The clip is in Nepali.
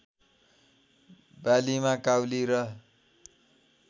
बालीमा काउली र